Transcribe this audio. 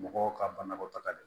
Mɔgɔw ka banakɔ taga de